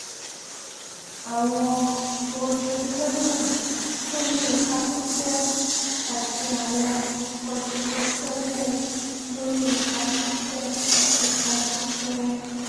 àwọn bronchodilators tó ní ipa pípẹ àti àwọn corticosteroids tó ní ipa pípẹ ní ipa pípẹ ics